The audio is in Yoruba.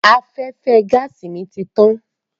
Afẹ́fẹ́ gáàsì mi ti tán.